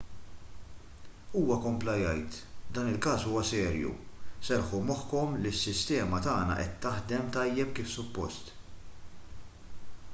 huwa kompla jgħid dan il-każ huwa serju serrħu moħħkom li s-sistema tagħna qed taħdem tajjeb kif suppost